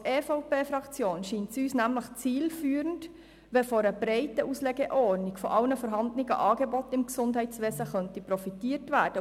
Als EVP-Fraktion scheint es uns nämlich zielführend, wenn von einer breiten Auslegeordnung aller vorhandenen Angebote im Gesundheitswesen profitiert werden kann.